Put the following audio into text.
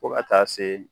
Fo ka taa se